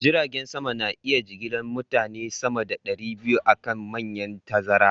Jiragen sama na iya jigilar mutane sama da ɗari biyu a kan manyan tazara